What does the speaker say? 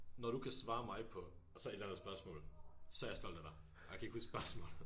Når du kan svare mig på og så et eller andet spørgsmål så er jeg stolt af dig og jeg kan ikke huske spørgsmålet